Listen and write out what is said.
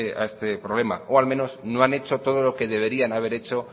a este problema o al menos no han hecho todo lo que deberían haber hecho